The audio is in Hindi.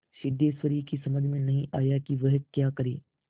सिद्धेश्वरी की समझ में नहीं आया कि वह क्या करे